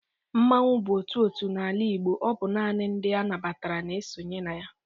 Mmanwu bụ otu otu n'ala Igbo ọ bụ nani ndị a nabatara n'esonye na ya.